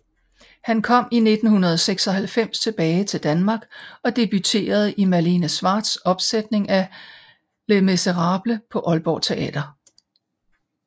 Han kom i 1996 tilbage til Danmark og debuterede i Malene Schwartzs opsætning af Les Misérables på Aalborg Teater